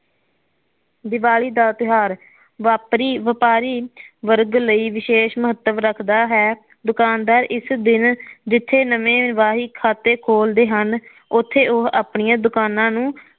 ਦੀਵਾਲੀ ਦਾ ਤਿਉਹਾਰ ਵਾਪਰੀ ਵਪਾਰੀ ਵਰਗ ਲਈ ਵਿਸ਼ੇਸ਼ ਮਹੱਤਵ ਰੱਖਦਾ ਹੈ ਦੁਕਾਨਦਾਰ ਇਸ ਦਿਨ ਜਿਥੇ ਨਵੇ ਵਾਹੀ ਖਾਤੇ ਖੋਲਦੇ ਹਨ ਉੱਥੇ ਉਹ ਆਪਣੀਆਂ ਦੁਕਾਨਾਂ ਨੂੰ